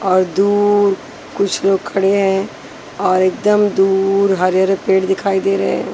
और दूर कुछ लोग खड़े हैं और एकदम दूर हरे हरे पेड़ दिखाई दे रहे है।